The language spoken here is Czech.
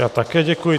Já také děkuji.